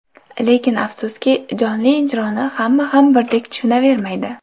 Lekin afsuski, jonli ijroni hamma ham birdek tushunavermaydi.